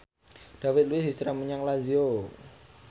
David Luiz hijrah menyang Lazio